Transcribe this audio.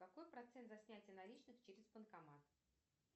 какой процент за снятие наличных через банкомат